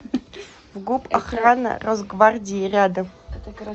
фгуп охрана росгвардии рядом